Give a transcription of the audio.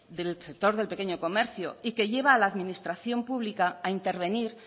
del sector del pequeño comercio y lleva a la administración pública a intervenir